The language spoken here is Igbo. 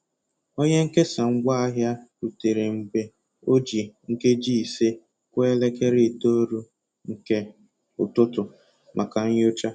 Onye nkesa ngwaahịa rutere mgbe o ji nkeji ise kụọ elekere itoolu nke ụtụtụ maka nyocha.